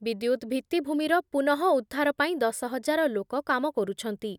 ବିଦ୍ୟୁତ୍ ଭିତ୍ତିଭୂମିର ପୁନଃ ଉଦ୍ଧାର ପାଇଁ ଦଶ ହଜାର ଲୋକ କାମ କରୁଛନ୍ତି ।